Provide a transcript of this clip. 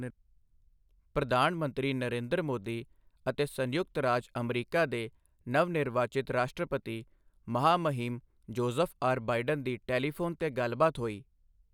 ਪ੍ਰਧਾਨ ਮੰਤਰੀ ਨਰੇਂਦਰ ਮੋਦੀ ਅਤੇ ਸੰਯੁਕਤ ਰਾਜ ਅਮਰੀਕਾ ਦੇ ਨਵ ਨਿਰਵਾਚਿਤ ਰਾਸ਼ਟਰਪਤੀ ਮਹਾਮਹਿਮ ਜੋਜ਼ਫ਼ ਆਰ. ਬਾਇਡਨ ਦੀ ਟੈਲੀਫ਼ੋਨ ਤੇ ਗੱਲਬਾਤ ਹੋਈ